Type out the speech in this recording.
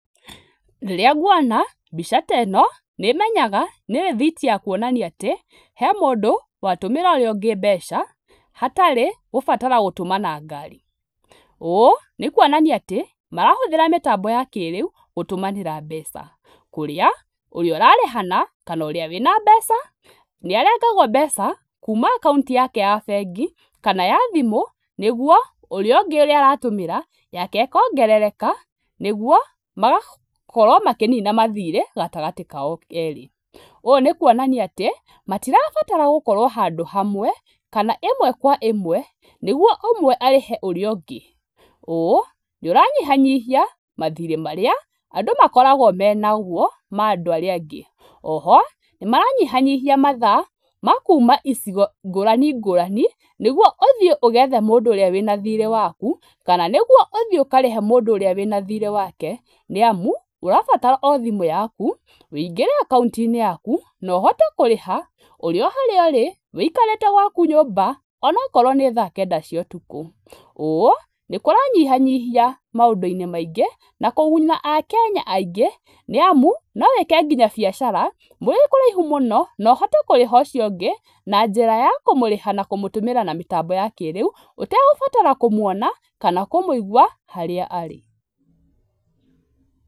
Rĩrĩa ngũona mbica ta ĩno nĩmenyaga nĩ rĩthiti ya kuonania atĩ he mũndũ watũmĩra ũrĩa ũngĩ mbeca hatarĩ gũbatara gũtũma na ngari. ũũ nĩ kũonania atĩ marahũthĩra mĩtambo ya kĩrĩu gũtũmanĩra mbeca kũrĩa ũrĩa ũrarĩhana kana ũrĩa wĩna mbeca nĩarengagwo mbeca kuma account yake ya bengi kana ya thimũ nĩgũo ũrĩa ũngĩ ũrĩa aratũmĩra yake ĩkongerereka nĩgũo magakorwo makĩnina mathirĩ gatagatĩ kao erĩ, ũũ nĩ kũonania atĩ matirabatara gũkorwo handũ hamwe kana ĩmwe kwa ĩmwe nĩgũo ũmwe arĩhe ũrĩa ũngĩ ũũ nĩũranyihanyihia mathirĩ marĩa andũ makoragwo menagũo ma andũ arĩa angĩ . Oho nĩmaranyihanyihia mathaa ma kuma icigo ngũrani ngũrani nĩgũo ũthĩe ũgethe mũndũ ũrĩa wĩna thirĩ waku kana nĩgũo ũthĩe ũkarĩhe mũndũ ũrĩa wĩna thĩrĩ wake, nĩamu ũrabatara thimũ yaku wĩingĩre account inĩ yaku na ũhote kũrĩha ũrĩ o harĩa ũrĩ wĩikarĩte o gwaku nyũmba onakorwo nĩ thaa kenda cia ũtukũ ũũ nĩ kũranyihanyihia maũndũ-inĩ maingĩ na kũguna akenya aingĩ nĩamu no wĩke nginya biacara mũrĩ kũraihu mũno na ũhote kũriha ũcio ũngĩ na njĩra ya kũmũrĩha na kũmũtũmĩra na mĩtambo ya kĩrĩu ũtegũbatara kũmũona kana kũmũigũa harĩa arĩ.